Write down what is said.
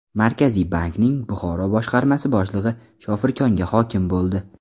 Markaziy bankning Buxoro boshqarmasi boshlig‘i Shofirkonga hokim bo‘ldi.